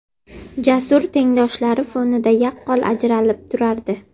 Jasur tengdoshlari fonida yaqqol ajralib turardi.